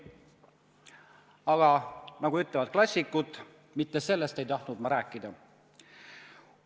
Aga, nagu ütlevad klassikud, mitte sellest ei tahtnud ma rääkida.